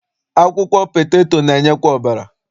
Akwụkwọ peteto na-enyekwa ọbara.